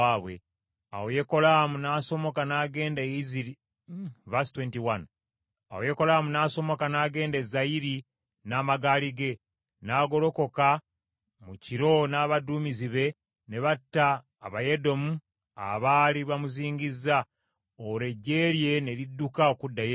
Awo Yekolaamu n’asomoka n’agenda e Zayiri n’amagaali ge, n’agolokoka mu kiro n’abaduumizi be ne batta Abayedomu abaali bamuzingizza, olwo eggye lye ne lidduka okuddayo ewaabwe.